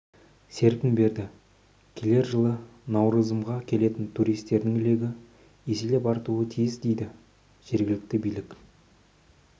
серпін берді келер жылы науырзымға келетін туристердің легі еселеп артуы тиіс дейді жергілікті билік